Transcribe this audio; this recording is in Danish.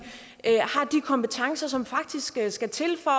kompetencer som faktisk skal til for